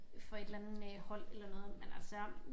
For et eller andet øh hold eller noget men altså